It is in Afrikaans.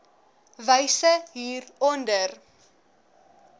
wyse hier onder